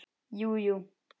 Jú jú.